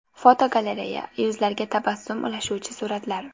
Fotogalereya: Yuzlarga tabassum ulashuvchi suratlar.